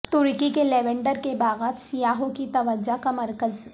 ترکی کے لیونڈر کے باغات سیاحوں کی توجہ کا مرکز